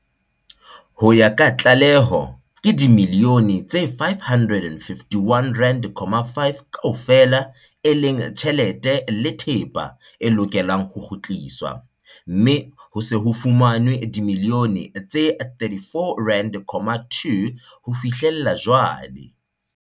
Ho ya ka tlaleho, ke dimiliyone tse R551.5 kaofela, e leng tjhelete le thepa, e lokelang ho kgutliswa, mme ho se ho fumanwe dimiliyone tse R34.2 ho fihlela jwale.